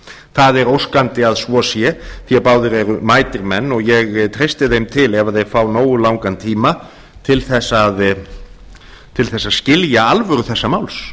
það er óskandi að svo sé því að báðir eru mætir menn og ég treysti þeim til ef þeir fá nógu langan tíma til þess að skilja alvöru þessa máls